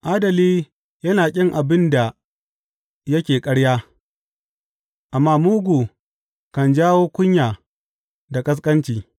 Adali yana ƙin abin da yake ƙarya, amma mugu kan jawo kunya da ƙasƙanci.